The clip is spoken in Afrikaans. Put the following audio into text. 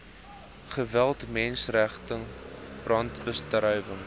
geweld menseregte brandbestryding